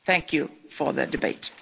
Thank you for the debate.